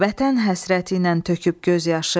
Vətən həsrəti ilə töküb göz yaşı.